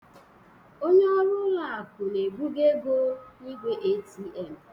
Onye ọrụ ụlọ akụ na-ebugo ego n'igwe ATM